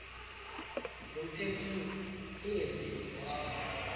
zomphefumulo ingenziwa kulezondawo